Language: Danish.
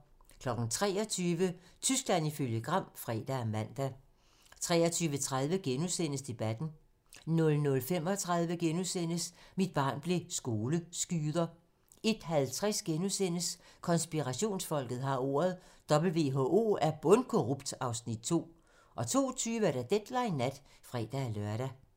23:00: Tyskland ifølge Gram (fre og man) 23:30: Debatten * 00:35: Mit barn blev skoleskyder * 01:50: Konspirationsfolket har ordet - WHO er bundkorrupt (Afs. 2)* 02:20: Deadline nat (fre-lør)